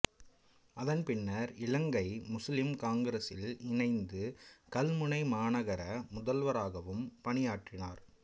அதன் பின்னர் இலங்கை முசுலிம் காங்கிரசில் இணைந்து கல்முனை மாநகர முதல்வராகவும் பணியாற்றினார்